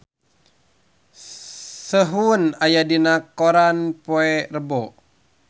Sehun aya dina koran poe Rebo